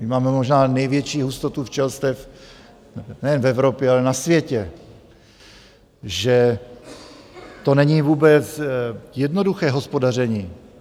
My máme možná největší hustotu včelstev nejen v Evropě, ale na světě, že to není vůbec jednoduché hospodaření.